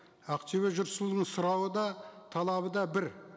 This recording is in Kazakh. ақтөбе жер суының сұрауы да талабы да бір